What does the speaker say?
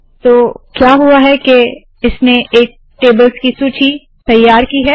तो क्या हुआ है के इसने एक टेबल्स की सूची तैयार की है